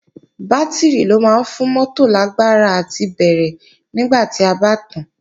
Bátìrì ló máa ń fún mótò lágbára àti bẹ̀rẹ̀ nígbà tí a bá tàán